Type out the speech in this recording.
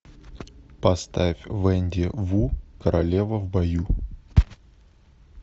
поставь венди ву королева в бою